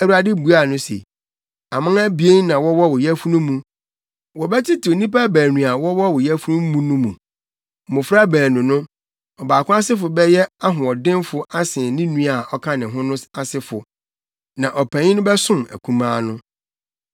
Awurade buaa no se, “Aman abien na wɔwɔ wo yafunu mu. Wɔbɛtetew nnipa baanu a wɔwɔ wo yafunu mu no mu. Mmofra baanu no, ɔbaako asefo bɛyɛ ahoɔdenfo asen ne nua a ɔka ne ho no asefo. Na ɔpanyin no bɛsom akumaa no.”